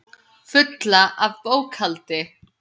Fulla af bókhaldi.